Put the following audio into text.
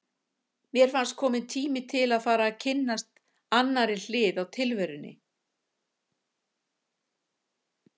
Mér fannst kominn tími til að fara að kynnast annarri hlið á tilverunni.